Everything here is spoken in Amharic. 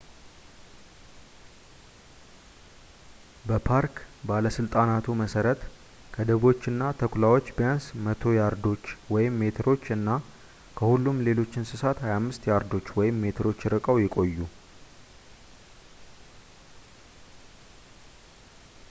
በፓርክ ባለስልጣናቱ መሰረት ከድቦችና ተኩላዎች ቢያንስ 100 ያርዶች/ሜትሮች እና ከሁሉም ሌሎች እንስሳት 25 ያርዶች/ሜትሮች ርቀው ይቆዩ